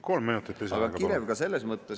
Kolm minutit lisaaega, palun!